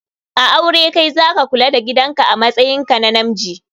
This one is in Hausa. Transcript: A aure Kai zaka Kula da gidan amatsayin ka na Namji